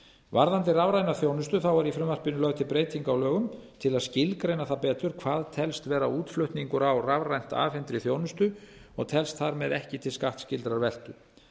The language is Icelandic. varðandi rafræna þjónustu er í frumvarpinu lögð til breyting á lögunum til að skilgreina það betur hvað telst vera útflutningur á rafrænt afhentri þjónustu og telst þar með ekki til skattskyldrar veltu